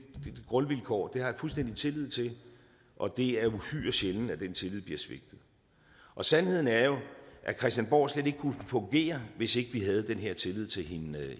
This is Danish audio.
grundvilkår og det har jeg fuldstændig tillid til og det er uhyre sjældent at den tillid bliver svigtet sandheden er jo at christiansborg slet ikke kunne fungere hvis ikke vi havde den her tillid til hinanden det